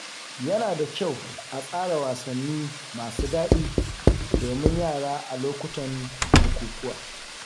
Yana da kyau a tsara wasanni masu daɗi domin yara a lokutan bukukuwa.